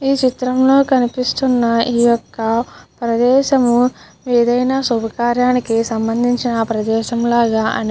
ఈ చిత్రం లో ఈ ఒక ప్రదేశం ఇది. ఎదిన శుబ్రకనికి సమందించిన ఎదిన ప్రదేశం అవి వుండచు.